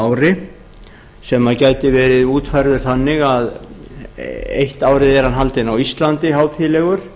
ári sem gæti verið útfærður þannig að eitt árið er hann haldinn á íslandi hátíðlegur